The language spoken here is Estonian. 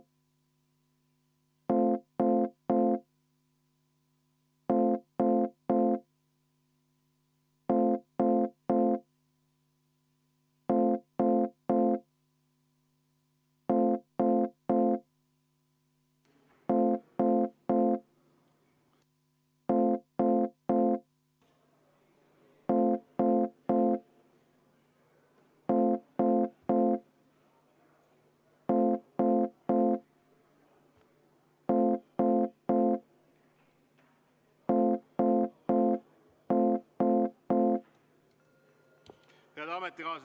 Head ametikaaslased!